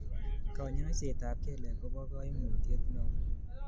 Kanyoisetab kelek kobo kaimutiet neo